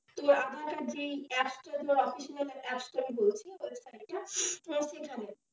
তো aadhaar card যেই apps টা যে official apps টা কে বলছি website টা সেখানে।